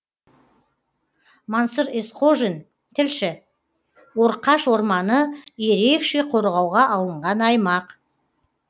мансұр есқожин тілші орқаш орманы ерекше қорғауға алынған аймақ